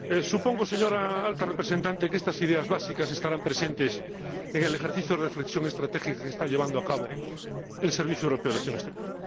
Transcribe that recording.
Supongo, señora Alta Representante, que estas ideas básicas estarán presentes en el ejercicio de reflexión estratégica que está llevando a cabo el Servicio Europeo de Acción Exterior.